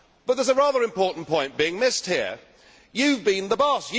But there is a rather important point being missed here you have been the boss